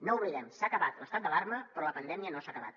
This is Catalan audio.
no ho oblidem s’ha acabat l’estat d’alarma però la pandèmia no s’ha acabat